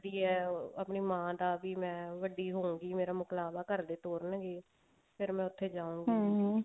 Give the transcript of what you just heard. ਕਰਦੀ ਹੈ ਆਪਣੀ ਮਾਂ ਦਾ ਵੀ ਮੈਂ ਵੱਡੀ ਹੋਉਂਗੀ ਮਰਾ ਮੁਕਲਾਵਾ ਘਰਦੇ ਤੋਰ੍ਨ੍ਗੇ ਫ਼ੇਰ ਮੈਂ ਉੱਥੇ ਜਾਊਂਗੀ